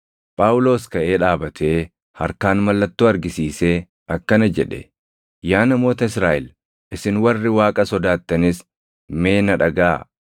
Phaawulos kaʼee dhaabatee harkaan mallattoo argisiisee akkana jedhe; “Yaa namoota Israaʼel, isin warri Waaqa sodaattanis mee na dhagaʼaa!